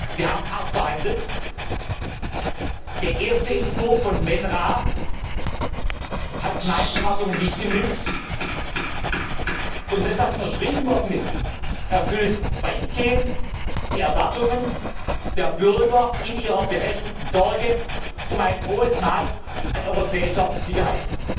Wir haben hart verhandelt. Der erste Entwurf hat meinen Erwartungen nicht genügt, und das, was dann unterschrieben worden ist, erfüllt weitgehend die Erwartungen der Bürger in ihrer berechtigten Sorge um ein hohes Maß an europäischer Sicherheit.